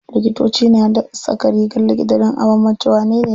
Likitoci na saka rigar likita dan a banbance wanene likita.